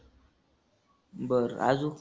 बरं अजून?